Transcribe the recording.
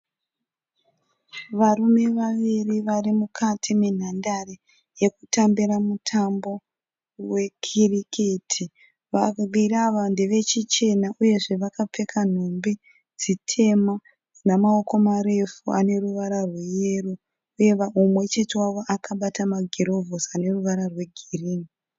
Varume vaviri varimukati menhandare yekutambira mutambo weCricket. Vaviri ava ndevechichena uyezve vakapfeka nhumbi dzitema dzinamoko marefu.